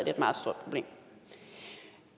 et meget stort problem